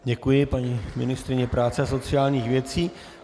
Děkuji paní ministryni práce a sociálních věcí.